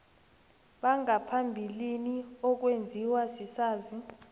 bangaphambilini okwenziwa sisazi